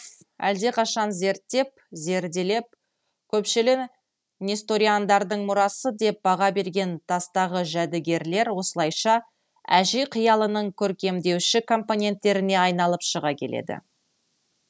әлдеқашан зерттеп зерделеп көшпелі несториандардың мұрасы деп баға берген тастағы жәдігерлер осылайша әже қиялының көркемдеуші компоненттеріне айналып шыға келеді